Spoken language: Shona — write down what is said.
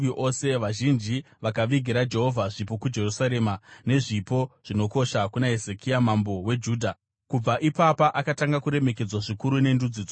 Vazhinji vakavigira Jehovha zvipo kuJerusarema nezvipo zvinokosha kuna Hezekia mambo weJudha. Kubva ipapa akatanga kuremekedzwa zvikuru nendudzi dzose.